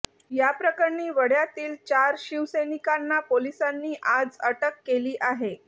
याप्रकरणी वडाळ्यातील चार शिवसैनिकांना पोलिसांनी आज अटक केली आहे